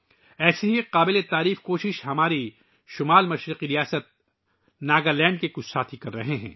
ایسی ہی ایک قابل تحسین کوشش ہماری شمال مشرقی ریاست ناگالینڈ کے کچھ دوست کر رہے ہیں